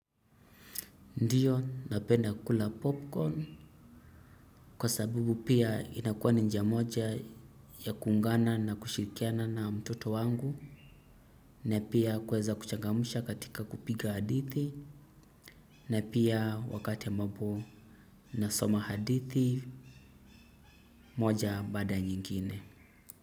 Ndiyo napenda kula popcorn kwa sababu pia inakuwa ni njia moja ya kuungana na kushirikiana na mtoto wangu na pia kweza kuchangamusha katika kupiga hadithi na pia wakati ya ambapo nasoma hadithi moja baada nyingine.